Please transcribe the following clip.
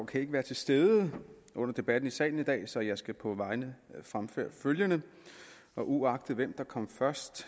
kan ikke være til stede under debatten i salen i dag så jeg skal på hans vegne fremføre følgende uagtet hvem der kom først